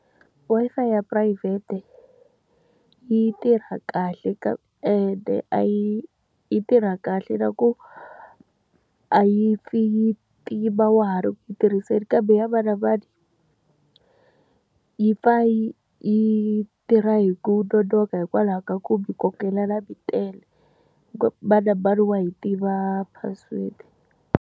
Wi-Fi ya phurayivhete yi tirha kahle ende a yi yi tirha kahle na ku a yi pfi yi tima wa ha ri ku yi tirhiseni, kambe ya mani na mani yi pfa yi yi tirha hi ku nonoka hikwalaho ka ku mi kokelana mi tele. Mani na mani wa yi tiva password.